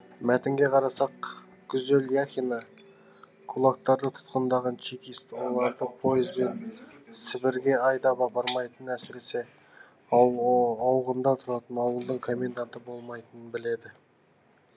мәтінге қарасақ гүзел яхина кулактарды тұтқындаған чекист оларды пойызбен сібірге айдап апармайтынын әсіресе ауғындар тұратын ауылдың коменданты болмайтынын біледі